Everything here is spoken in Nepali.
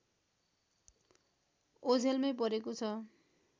ओझलमै परेको छ